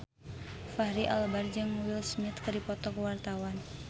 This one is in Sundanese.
Fachri Albar jeung Will Smith keur dipoto ku wartawan